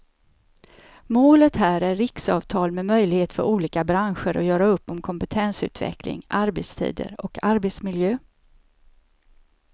Målet här är riksavtal med möjlighet för olika branscher att göra upp om kompetensutveckling, arbetstider och arbetsmiljö.